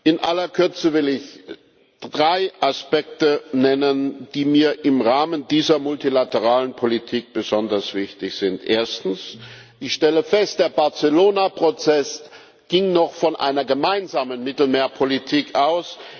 In aller Kürze will ich drei Aspekte nennen, die mir im Rahmen dieser multilateralen Politik besonders wichtig sind. Erstens Ich stelle fest, der Barcelona Prozess ging noch von einer gemeinsamen Mittelmeerpolitik aus.